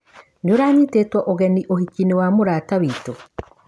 Nĩũranyitĩtũo ũgeni uhikinĩ wa mũrata witũ?